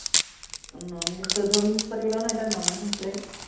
উম ন মিনিট, চৈধ্য় মিনিট পাতিব লাগিব নহয় এতিয়া, ন মিনিট হৈছেহে।